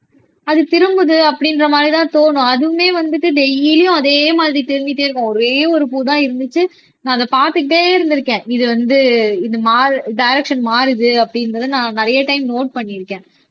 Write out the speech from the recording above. அது திரும்புது அப்படின்ற மாதிரிதான் தோணும் அதுவுமே வந்துட்டு டெய்லியும் அதே மாதிரி திரும்பிட்டே இருக்கும் ஒரே ஒரு பூ தான் இருந்துச்சு நான் அதை பார்த்துக்கிட்டே இருந்திருக்கேன் இது வந்து இது மா டைரக்சன் மாறுது அப்படின்றதை நான் நிறைய டைம் நோட் பண்ணி இருக்கேன்